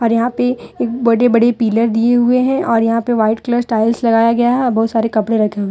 यहां पे एक बड़ी बड़ी पिलर दिए हुए हैं और यहां पे वाइट कलर टाइल्स लगाया गया है और बहुत सारे कपड़े रखे हुए--